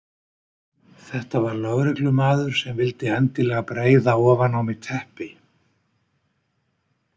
Þetta var lögreglumaður sem vildi endilega breiða ofan á mig teppi.